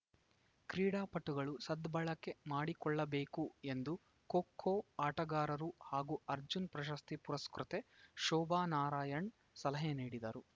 ಕ್ರೀಡಾಪಟುಗಳು ಸದ್ಬಳಕೆ ಮಾಡಿಕೊಳ್ಳಬೇಕು ಎಂದು ಖೋಖೋ ಆಟಗಾರರು ಹಾಗೂ ಅರ್ಜುನ್‌ ಪ್ರಶಸ್ತಿ ಪುರಸ್ಕೃತೆ ಶೋಭಾ ನಾರಾಯಣ್‌ ಸಲಹೆ ನೀಡಿದರು